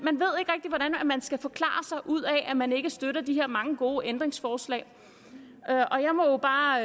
skal forklare sig ud af at man ikke støtter de her mange gode ændringsforslag jeg må bare